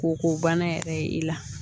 K'o ko bana yɛrɛ ye i la